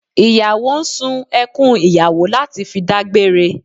Ìyàwó ń sun ẹkùn ìyàwó láti fi dágbére